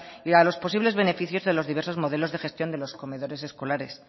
y a los posibles beneficios de los diversos modelos de gestión de los comedores escolares